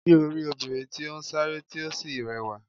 Sé o rí obìnrin tí ó sanra tí ó sì rẹwà?